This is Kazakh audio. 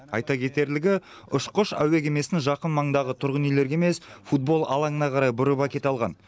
айта кетерлігі ұшқыш әуе кемесін жақын маңдағы тұрғын үйлерге емес футбол алаңына қарай бұрып әкете алған